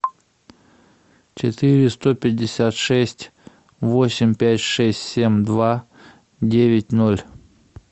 четыре сто пятьдесят шесть восемь пять шесть семь два девять ноль